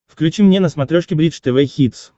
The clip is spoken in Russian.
включи мне на смотрешке бридж тв хитс